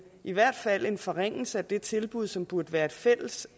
i hvert fald en forringelse af det tilbud som burde være et fælles